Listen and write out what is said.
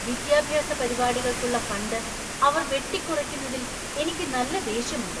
വിദ്യാഭ്യാസ പരിപാടികൾക്കുള്ള ഫണ്ട് അവർ വെട്ടിക്കുറയ്ക്കുന്നതിൽ എനിക്ക് നല്ല ദേഷ്യമുണ്ട്.